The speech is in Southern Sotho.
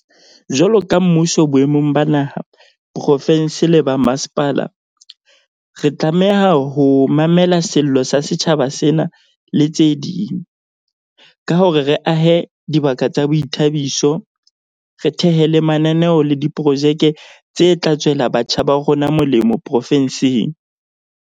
Jwalo ka mmuso boemong ba naha, profensi le ba mmasepala, re tlameha ho mamela sello sa setjhaba sena, le tse ding, ka hore re ahe dibaka tsa boithabiso, re thehe le mananeo le diprojeke tse tla tswela batjha ba rona molemo profensing.